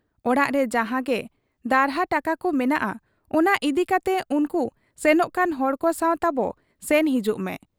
ᱚᱲᱟᱜᱨᱮ ᱡᱟᱦᱟᱸᱜᱮ ᱫᱟᱹᱦᱱᱟᱹ ᱴᱟᱠᱟᱠᱚ ᱢᱮᱱᱟᱜ, ᱚᱱᱟ ᱤᱫᱤ ᱠᱟᱛᱮ ᱩᱱᱠᱩ ᱥᱮᱱᱚᱜ ᱠᱟᱱ ᱦᱚᱲᱠᱚ ᱥᱟᱶ ᱛᱟᱵᱚ ᱥᱮᱱ ᱦᱤᱡᱩᱜ ᱢᱮ ᱾